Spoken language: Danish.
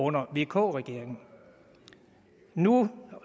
under vk regeringen nu